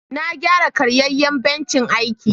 Na gyara karyayan bencin aiki.